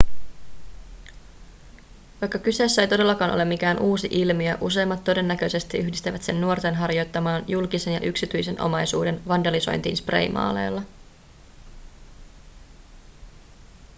vaikka kyseessä ei todellakaan ole mikään uusi ilmiö useimmat todennäköisesti yhdistävät sen nuorten harjoittamaan julkisen ja yksityisen omaisuuden vandalisointiin spraymaaleilla